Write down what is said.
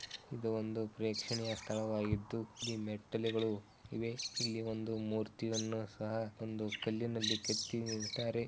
ಇದು ಒಂದು ಪ್ರೇಕ್ಷಣೆಯ ಸ್ಥಳವಾಗಿದ್ದು ಇಲ್ಲಿ ಮೆಟ್ಟಲುಗಳು ಇವೆ ಇಲ್ಲಿ ಒಂದು ಮೂರ್ತಿಯೊನ್ನ ಸಹ ಇಲ್ಲಿಒಂದು ಕಲ್ಲಿನಲ್ಲಿ ಕೆತ್ತಿ ನಿಲ್ಸಿದಾರೆ